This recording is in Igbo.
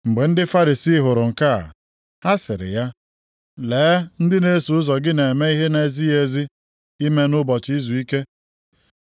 Mgbe ndị Farisii hụrụ nke a, ha sịrị ya, “Lee, ndị na-eso ụzọ gị na-eme ihe na-ezighị ezi ime nʼụbọchị izuike!”